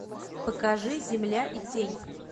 покажи земля и тень